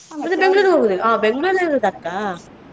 ಮತ್ತೆ Bangalore ಗೆ ಹೋಗುದಿಲ್ವಾ ಆ Bangalore ಲ್ಲೇ ಇರುದಾ ಅಕ್ಕ.